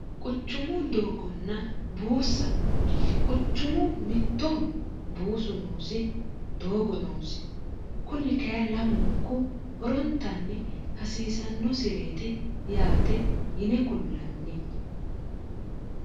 quchumu doogonna buussa quchumu mittoho buusu noosi doogo noosi kunni kaye lamunku horontanni hasiisannosireeti yaate yine kullanni